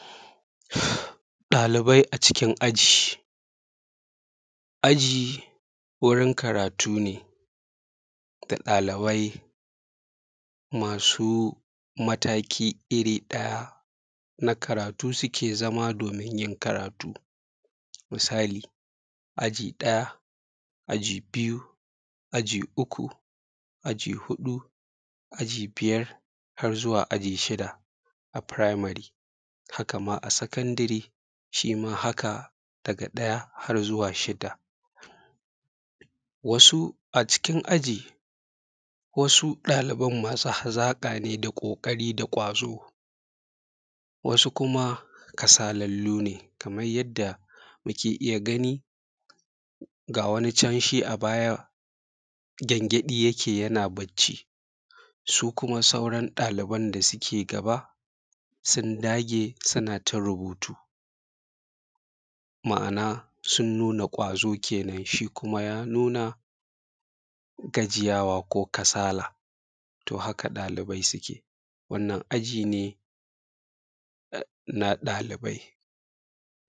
Ɗalibai a cikin aji aji wurin karatu ne da ɗalibai masu mataki iri ɗaya na karatu su ke zama domin yin karatu. Misali, aji ɗaya, aji biyu, aji uku, aji huɗu, aji biyar har zuwa aji shida a primary, haka ma a secondary shima haka daga ɗaya har zuwa shidda. wasu a cikin aji wasu ɗaliban masu hazaƙa ne da ƙoƙari da ƙwazo. wasu kuma kasalallu ne kamar yadda muke iya gani, ga wani can shi a baya, gyanjaɗi yake yana barci, su kuma sauran ɗaliban da suke gaba, sun dagee suna ta rubutu. ma’anaa sun nuna ƙwazo kenan, shii kuma ya nuna gajiyawa ko kasala. to haka ɗalibai su ee. Wannan aji ne na ɗalibai